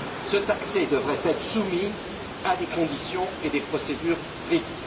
Cet accès devrait être soumis à des conditions et à des procédures strictes.